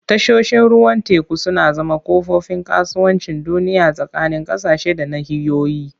Tashoshin ruwan teku suna zama kofofin kasuwancin duniya tsakanin ƙasashe da nahiyoyi.